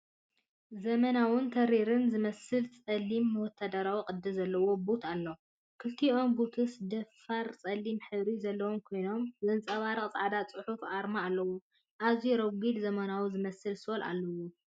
ዘመናውን ተሪርን ዝመስል ጸሊም ወተሃደራዊ ቅዲ ዘለዎ ቡት ኣለዎ። ክልቲኦም ቡትስ ደፋር ጸሊም ሕብሪ ዘለዎም ኮይኖም፡ ዘንጸባርቕ ጻዕዳ ጽሑፍ ኣርማታት ኣለዎም። ኣዝዩ ረጒድን ዘመናዊ ዝመስልን ሶል ኣለዎም፡፡